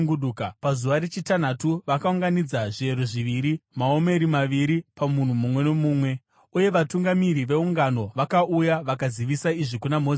Pazuva rechitanhatu, vakaunganidza zviyero zviviri, maomeri maviri pamunhu mumwe nomumwe, uye vatungamiri veungano vakauya vakazivisa izvi kuna Mozisi.